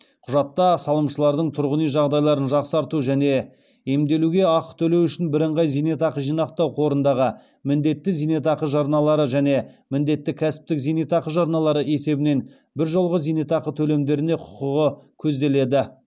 құжатта салымшылардың тұрғын үй жағдайларын жақсарту және емделуге ақы төлеу үшін бірыңғай зейнетақы жинақтау қорындағы міндетті зейнетақы жарналары және міндетті кәсіптік зейнетақы жарналары есебінен біржолғы зейнетақы төлемдеріне құқығы көзделеді